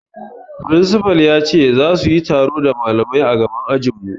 Firinsifal ya ce zasu yi taro da malamai a gaban ajin mu